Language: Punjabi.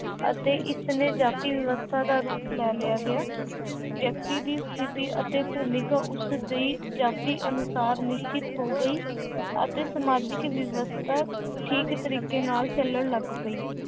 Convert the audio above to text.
ਅਤੇ ਇਸਨੇ ਜਾਤੀ ਵਿਵਸਥਾ ਦਾ ਰੂਪ ਲੈ ਲਿਆ ਗਿਆ ਵਿਅਕਤੀ ਦੀ ਸਥਿੱਤੀ ਅਤੇ ਭੂਮਿਕਾ ਉਸਦੀ ਜਾਤੀ ਅਨੁਸਾਰ ਨਿਸ਼ਚਿਤ ਹੋ ਗਈ ਅਤੇ ਸਮਾਜਿਕ ਵਿਵਸਥਾ ਠੀਕ ਤਰੀਕੇ ਨਾਲ ਚੱਲਣ ਲੱਗ ਪਈ।